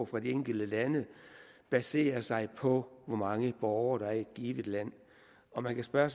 fra de enkelte lande baserer sig på hvor mange borgere der er i givet land og man kan spørge